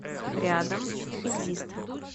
рядом экзистру